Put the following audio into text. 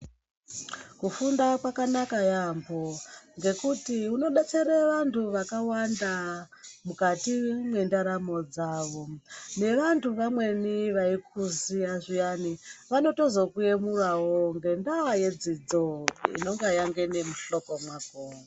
Kufunda kwakanaka yaambo ngekuti unodetsere vantu vakawanda mukati mwendaramo dzavo. Nevantu vamweni vaikuziya zviyani vanotozokuyemurawo ngendaa yedzidzo inenge yangene muhloko mwako.